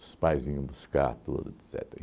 Os pais vinham buscar tudo, etcetera.